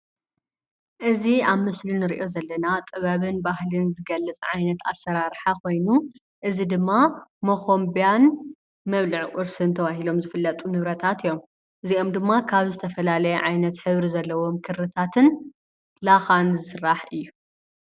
እዚ ኣብ ምስሊ እንሪኦ ዘለና ጥበብን ባህልን ዝገልፅ ዓይነት ኣሰራርሓ ኮይኑ እዚ ድማ መኾንቢያን መብልዒ ቁርስን ተባሂሎም ዝፍለጡ ንብረታት እዮም፡፡ እዚኦም ድማ ካብ ዝተፈላለየ ዓይነት ሕብሪ ዘለዎ ክርታትን ላኻን ዝስራሕ እዩ፡፡